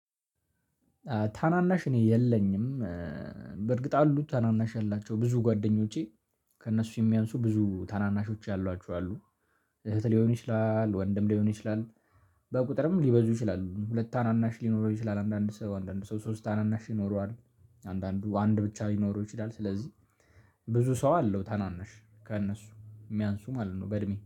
ታናናሽ እኔ የለኝም። በእርግጥ አሉ ታናናሽ ያላቸው ብዙ ጓደኞቼ ከእነሱ የሚያንሱ ብዙ ታናናሾች ያሏቸው ያሏችኋል እህት ሊሆን ይችላል ወንድም ሊሆን ይችላል። በቁጥርም ሊበዙ ይችላሉ ሁለት ታናናሽ ሊኖረው ይችላል አንዳንድ ሰው አንዳንድ ሰው ሶስት ታናናሽ ይኖረዋል። አንዳንዱ አንድ ብቻ ሊኖረው ይችላል። ስለዚህ ብዙ ሰው አለው ታናናሽ ከእነሱ የሚያንሱ ማለት ነው በእድሜ